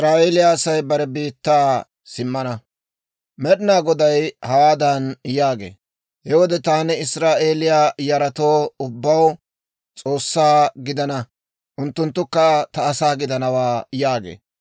Med'inaa Goday hawaadan yaagee; «He wode taani Israa'eeliyaa yaratoo ubbaw S'oossaa gidana; unttunttukka ta asaa gidanawaa» yaagee.